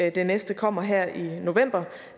at det næste kommer her i november